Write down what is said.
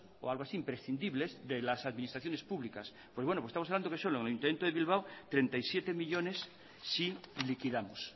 o algo así imprescindibles de las administraciones públicas pues bueno pues estamos hablando que solo en el ayuntamiento de bilbao treinta y siete millónes si liquidamos